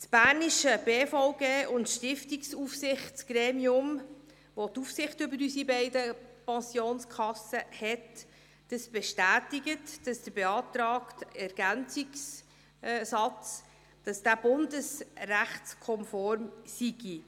Das Gremium, welches die Aufsicht über unsere beiden Pensionskassen hat, die BBSA, bestätigt, dass der ergänzende Satz bundesrechtskonform sei.